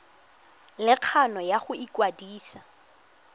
le kgano ya go ikwadisa